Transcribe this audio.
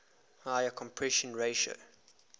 higher compression ratio